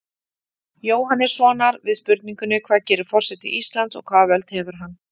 Jóhannessonar við spurningunni Hvað gerir forseti Íslands og hvaða völd hefur hann?